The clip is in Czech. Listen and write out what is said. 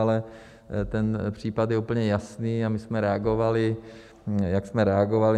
Ale ten případ je úplně jasný a my jsme reagovali, jak jsme reagovali.